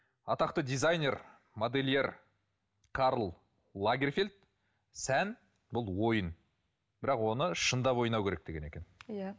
атақты дизайнер модельер карл лагерфельд сән бұл ойын бірақ оны шындап ойнау керек деген екен иә